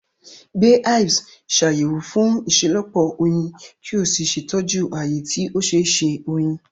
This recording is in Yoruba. Gbe hives, Ṣàyẹ̀wò fún ìṣelọ́pọ̀ oyin, kí o sì ṣètọ́jú ààyè tí ó ṣeé ṣe oyin.